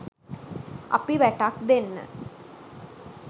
අපි වැටක් දෙන්න